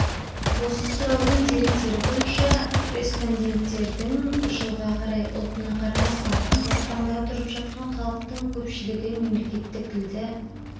осы сұраудың деректері бойынша респонденттердің жылға қарай ұлтына қарамастан қазақстанда тұрып жатқан халықтың көпшілігі мемлекеттік тілді